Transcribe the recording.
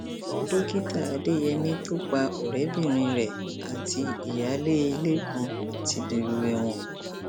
dókítà adeyemi tó pa ọrẹbìnrin rẹ àti ìyáálé ilé kan ti dèrò ẹwọn